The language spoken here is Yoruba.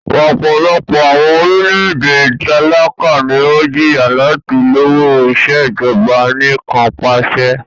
Ọpọlọpọ awọn orilẹ-ede talaka ni o jiya lati lọwọ Ìṣèjọba Anìkanpàṣẹ